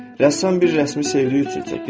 Rəssam bir rəsmi sevdiyi üçün çəkir.